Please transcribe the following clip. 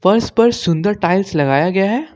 फर्श पर सुंदर टाइल्स लगाया गया है।